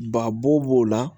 Ba bo b'o la